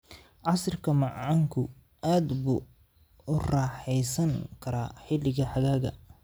Casiirka macaanku aad buu u raaxaysan karaa xilliga xagaaga.